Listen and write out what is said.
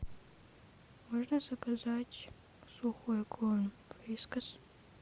можно заказать сухой корм вискас